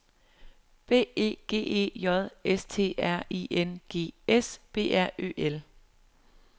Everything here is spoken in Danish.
B E G E J S T R I N G S B R Ø L